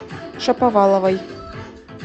шаповаловой